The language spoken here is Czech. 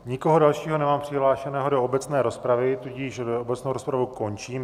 Nikoho dalšího nemám přihlášeného do obecné rozpravy, tudíž obecnou rozpravu končím.